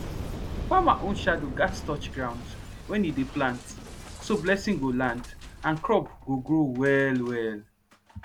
farmer own shadow gats touch ground when e dey plant so blessing go land and crop go grow well well